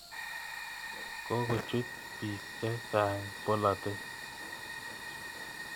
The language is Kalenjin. Kokochut piik che chang' polotet.